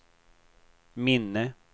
minne